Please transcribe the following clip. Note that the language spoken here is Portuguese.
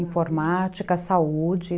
Informática, saúde.